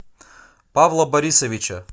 павла борисовича